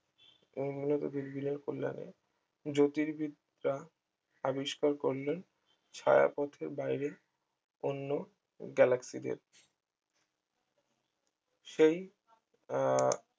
উন্নত দুর্বিনের কল্যাণে জ্যোতির্বিদ্যা আবিষ্কার করলেন ছায়াপথের বাইরে অন্য galaxy দের সেই আহ